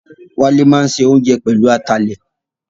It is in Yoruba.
Wálé máa ń se oúnjẹ pẹ̀lú atalẹ̀